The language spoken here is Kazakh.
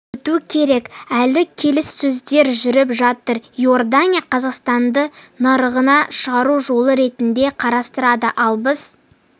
өту керек әлі келіссөздер жүріп жатыр иордания қазақстанды нарығына шығу жолы ретінде қарастырады ал біз